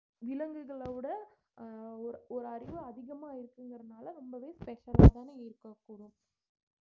விலங்குகளை விட அஹ் ஒரு ஒரு அறிவு அதிகமா இருக்குங்கிறதுனால ரொம்பவே special அ தானே இருக்கக்கூடும்